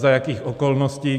Za jakých okolností?